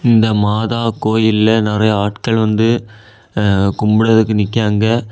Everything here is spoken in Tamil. இந்த மாதா கோயில்ல நறைய ஆட்கள் வந்து கும்பிட்றதுக்கு நிக்கியாங்க.